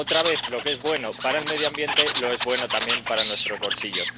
Otra vez, lo que es bueno para el medio ambiente, lo es también para nuestros bolsillos.